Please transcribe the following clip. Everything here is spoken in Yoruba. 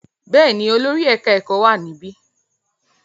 Bẹ́ẹ̀ ni, olórí ẹ̀ka-ẹ̀kọ́ wà níbí.